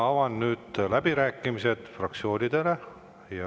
Avan nüüd läbirääkimised fraktsioonidele.